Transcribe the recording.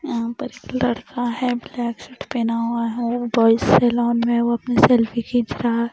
यहां पर एक लड़का है ब्लैक सूट पहना हुआ है वो बॉयज से लॉन में वो अपनी सेल्फी खींच रहा--